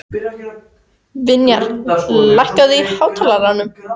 Vinjar, lækkaðu í hátalaranum.